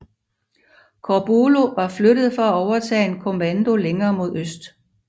Corbulo var flyttet for at overtage en kommando længere mod øst